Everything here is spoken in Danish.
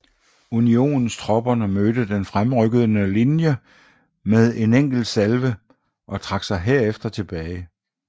Unionstropperne mødte den fremrykkende linje med en enkelt salve og trak sig derefter tilbage